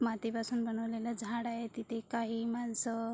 मातीपासुन बनवलेले झाड आहे तिथे काही माणस--